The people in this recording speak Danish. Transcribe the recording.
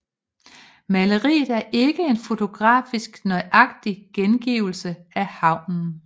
Maleriet er ikke en fotografisk nøjagtig gengivelse af havnen